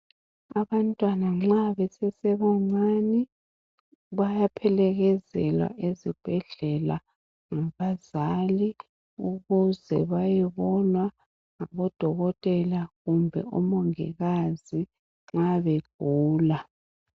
Abantwana nxa besesebancani bayaphelekezelwa ezibhedlela ngabazali ukuze bayebonwa ngabodokotela kumbe omongikazi nxa begula.